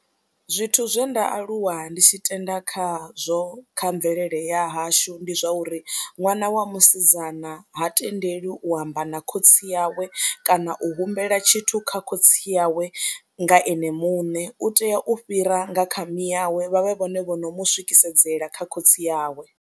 Zwithu zwe nda aluwa ndi tshi tenda khazwo kha mvelele ya hashu ndi zwa uri ṅwana wa musidzana ha tendeliwi u amba na khotsi yawe kana u humbela tshithu kha khotsi yawe nga ene muṋe, u tea u fhira nga kha mi yawe vha vhe vhone vho no mu swikisedzela kha khotsi yawe.